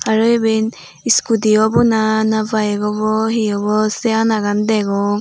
aro iben scooty obw na na bike obw hi obw sei anagan degong.